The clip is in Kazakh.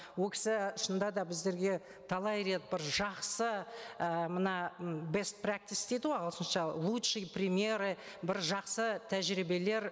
ол кісі шынында да біздерге талай рет бір жақсы і мына бест прэктис дейді ғой ағылшынша лучшие примеры бір жақсы тәжірибелер